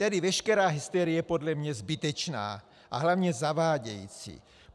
Tedy veškerá hysterie je podle mě zbytečná a hlavně zavádějící.